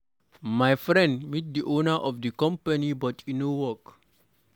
My friend meet the owner of the company but e no work.